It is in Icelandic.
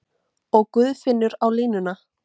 Og Guðfinnur á línuna!